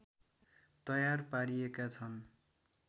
तयार पारिएका छन्